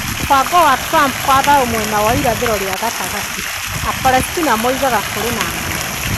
Mũbango wa Trump wa thayũ mwena wa irathĩro rĩa gatagatĩ: Apalestina moigaga kũrĩ na 'ng'aragu'